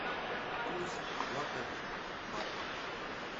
курс лата к бату